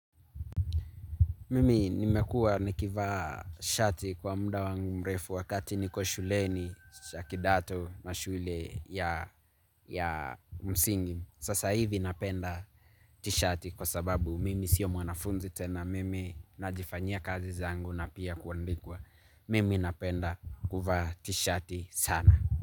Mimi nimekua nikivaa shati kwa muda wangu mrefu wakati niko shuleni shakidato na shule ya msingi. Sasa hivi napenda t-shati kwa sababu mimi siyo mwanafunzi tena mimi najifanyia kazi zangu na pia kuandikwa. Mimi napenda kuva t-shati sana.